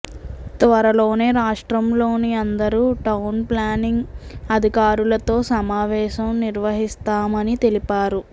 త్వరలోనే రాష్ర్టంలోని అందరు టౌన్ ప్లానింగ్ అధికారులతో సమావేశం నిర్వహిస్తామని తెలిపారు